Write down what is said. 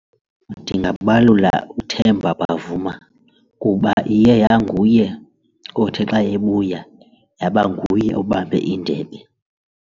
Ndingabalula uThemba Bavuma kuba iye yanguye othi xa ebuya yaba nguye obambe indebe.